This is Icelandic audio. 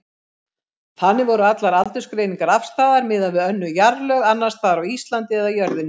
Þannig voru allar aldursgreiningar afstæðar miðað við önnur jarðlög, annars staðar á Íslandi eða jörðinni.